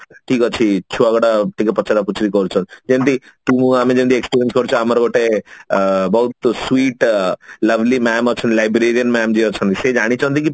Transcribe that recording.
ଠିକ ଅଛି ଛୁଆ ଗୁଡା ଟିକେ ପଚରା ପୁଚୁରି କରୁଛନ୍ତି ଯେମତି ତୁ ମୁଁ ଆମେ ଯେମତି କରୁଚେ ଆମର ଗୋଟେ ଅ ବହୁତ sweet lovely mam ଅଛନ୍ତି librarian mam ଯିଏ ଅଛନ୍ତି ସିଏ ଜାଣିଛନ୍ତି କି